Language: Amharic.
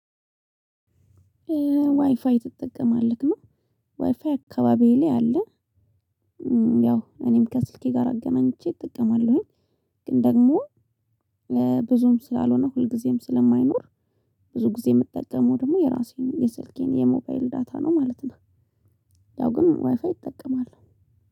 ዋይፋይ ትጠቀማለክ? አ ዋይፋይ አካባቢዬ ላይ አለ። ያው እኔም ከስልኬ ጋር አገናኝቼ እጠቀማለሁኝ። ግን ደግሞ ብዙም ስላልሆነ ሁልጊዜም ስለማይኖር ብዙ ጊዜ የምጠቀመው ደግሞ የራሴን የስልኬን የሞባይል ዳታ ነው ማለት ነው። ያው ግን ዋይፋይ እጠቀማለሁ።